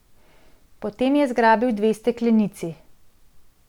Potem je zgrabil dve steklenici.